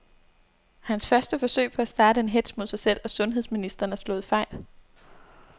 Hans første forsøg på at starte en hetz mod sig selv og sundheds ministeren er slået fejl.